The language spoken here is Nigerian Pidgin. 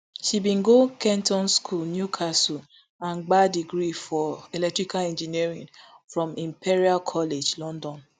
she bin go kenton school newcastle and gbab degree for electrical engineering from imperial college london